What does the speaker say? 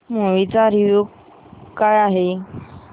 movie चा review काय आहे